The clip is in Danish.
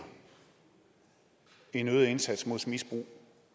en øget indsats mod misbrug